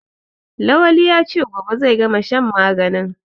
Lawali ya ce "gobe zai gama shan maganin"